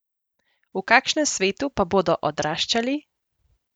V kakšnem svetu pa bodo odraščali?